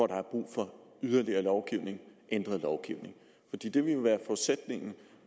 der er brug for yderligere lovgivning og ændret lovgivning